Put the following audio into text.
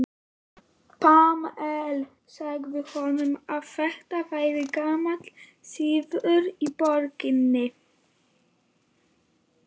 Pamela sagði honum að þetta væri gamall siður í borginni.